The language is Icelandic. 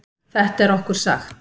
Þetta er okkur sagt